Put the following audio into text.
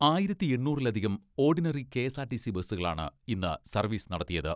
ആയിരത്തി എണ്ണൂറിലധികം ഓഡിനറി കെ.എസ്.ആർ.ടി.സി ബസ്സുകളാണ് ഇന്ന് സർവ്വീസ് നടത്തിയത്.